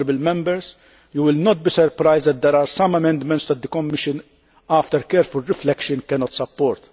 Honourable Members, you will not be surprised that there are some amendments that the Commission, after careful reflection, cannot support.